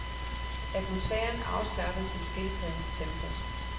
Atmosfæren afslappet, som skildpaddens tempo.